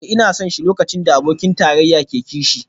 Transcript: Eh ina son shi lokacin da abokin tarayya ke kishi